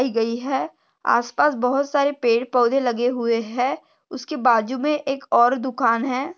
गई है आस पास बहुत सारे पेड़ पौधे लगे हुए है उसके बाजु में एक और दुकान है।